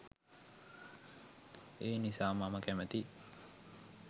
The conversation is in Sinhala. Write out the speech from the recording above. ඒනිසා මම කැමතියි